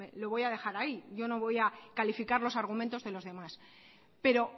lo voy a dejar ahí yo no voy a calificar los argumentos de los demás pero